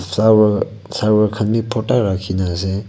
flower saver khan bhi pota rakhi kina ase.